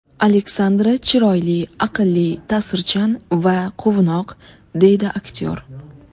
Alexandra chiroyli, aqlli, ta’sirchan va quvnoq”, deydi aktyor.